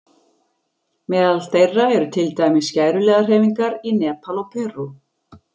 Meðal þeirra eru til dæmis skæruliðahreyfingar í Nepal og Perú.